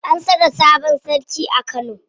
An saka sabon sarki a Kano.